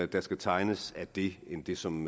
der skal tegnes af det end det som